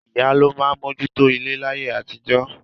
Ìyá ló máa mójú tó ilé láyé àtijọ́